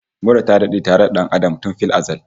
Mura ta dade tare da dan Adam tun fil azal